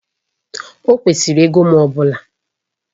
Ọ kwesịrị ego m ọ bụla